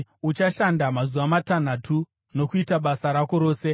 Uchashanda mazuva matanhatu nokuita basa rako rose,